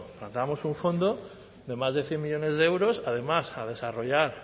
planteábamos un fondo de más de cien millónes de euros además a desarrollar